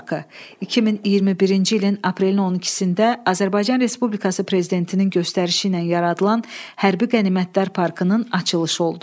2021-ci ilin aprelin 12-də Azərbaycan Respublikası prezidentinin göstərişi ilə yaradılan hərbi qənimətlər parkının açılışı oldu.